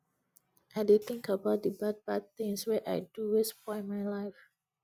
i dey tink about di bad bad tins wey i do wey spoil my life